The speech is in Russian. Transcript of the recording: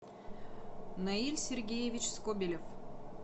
наиль сергеевич скобелев